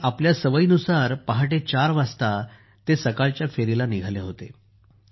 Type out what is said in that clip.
आणि आपल्या सवयीनुसार ४ वाजता सकाळच्या फेरीला निघाले होते